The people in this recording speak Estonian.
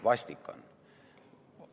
Vastik on.